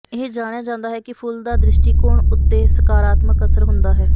ਇਹ ਜਾਣਿਆ ਜਾਂਦਾ ਹੈ ਕਿ ਫੁੱਲ ਦਾ ਦ੍ਰਿਸ਼ਟੀਕੋਣ ਉੱਤੇ ਸਕਾਰਾਤਮਕ ਅਸਰ ਹੁੰਦਾ ਹੈ